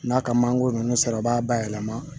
N'a ka mangoro ninnu sara i b'a bayɛlɛma